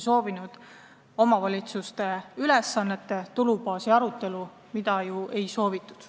Soovisime kindlasti omavalitsuste ülesannete täitmist toetava tulubaasi arutelu, mida aga ei tahetud.